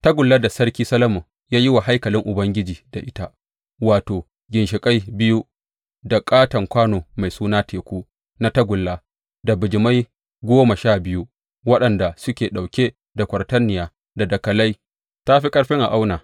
Tagullar da sarki Solomon ya yi wa haikalin Ubangiji da ita, wato, ginshiƙai biyu, da ƙaton kwano mai suna Teku na tagulla, da bijimai goma sha biyu, waɗanda suke ɗauke da kwatarniya, da dakalai, ta fi ƙarfin a auna.